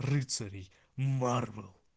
рыцарей марвел